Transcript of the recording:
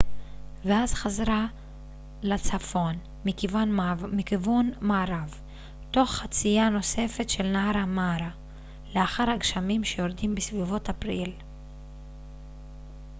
ואז חזרה לצפון מכיוון מערב תוך חצייה נוספת של נהר המארה לאחר הגשמים שיורדים בסביבות אפריל